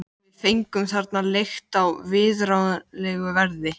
Íslenskrar æsku biði mikið hlutverk í þessum efnum.